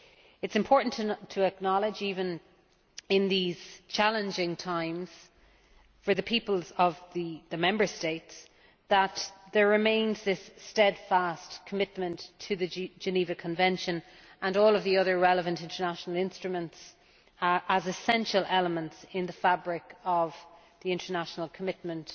It is important to acknowledge, even in these challenging times for the peoples of the Member States, that there remains this steadfast commitment to the Geneva Convention and all of the other relevant international instruments as essential elements in the fabric of the international commitment